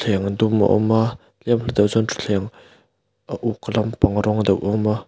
thuthleng dum a awm a tlema hla deuhah sawn thuthleng a uk lampang rawng deuh a awm a.